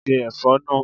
Se ẹ̀fọ́ náà!